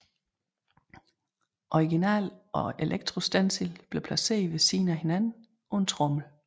Originalen og elektrostencilen blev placeret ved siden af hinanden på en tromle